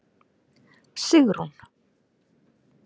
Sigrún